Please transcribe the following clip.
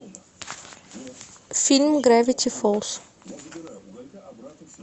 фильм гравити фолз